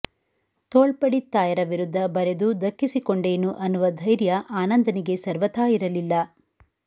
ತೋಳ್ಪಡಿತ್ತಾಯರ ವಿರುದ್ಧ ಬರೆದು ದಕ್ಕಿಸಿಕೊಂಡೇನು ಅನ್ನುವ ಧೈರ್ಯ ಆನಂದನಿಗೆ ಸರ್ವಥಾ ಇರಲಿಲ್ಲ